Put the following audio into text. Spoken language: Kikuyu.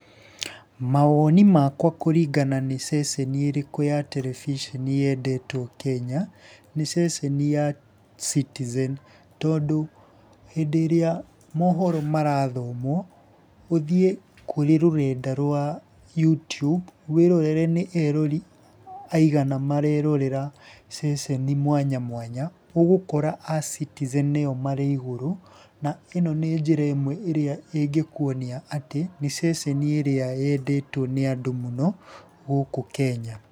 Mawoni makwa kũringana nĩ ceceni ĩrĩkũ ya tereviconi yendetwo Kenya, nĩ ceceni ya Citizen. Tondũ hĩndĩ ĩrĩa mohoro marathomwo ũthiĩ kũrĩ rũrenda rwa youtube wĩrorere nĩ erori aigana marerorera ceceni mwanya mwanya, ũgũkora a Citizen nĩo marĩ igũrũ na ĩno nĩ njĩra ĩmwe ĩrĩa ĩngĩkuonia atĩ nĩ ceceni ĩrĩa yendetwo mũno nĩ andũ gũkũ Kenya.